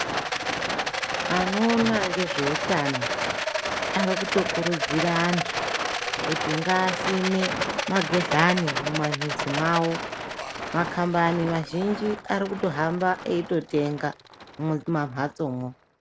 Anoona ngezveutano ari kutokurudzira antu kuti ngaasime magehlani mumamizi mwavo, makhambani mazhinji arikutohamba eitenga mumamhatsomwo.